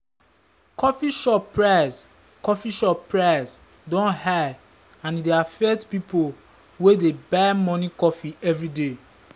coffee shop price coffee shop price don high and e dey affect people wey dey buy morning coffee every day.